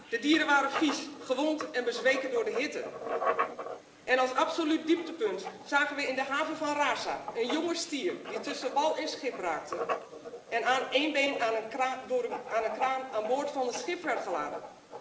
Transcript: De dieren waren vies, gewond en bezweken door de hitte. En als absoluut dieptepunt zagen we in de haven van Rasa een jonge stier die tussen wal en schip raakte, en aan een been door een kraan aan boord van een schip werd geladen.